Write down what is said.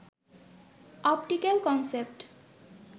optical concept